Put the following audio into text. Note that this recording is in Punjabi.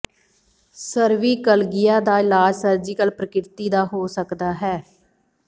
ਸਰਵੀਕਲਗਿਆ ਦਾ ਇਲਾਜ ਸਰਜੀਕਲ ਪ੍ਰਕਿਰਤੀ ਦਾ ਹੋ ਸਕਦਾ ਹੈ